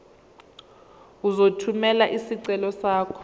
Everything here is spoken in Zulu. uzothumela isicelo sakho